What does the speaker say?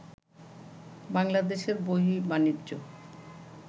বাংলাদেশের বহির্বাণিজ্য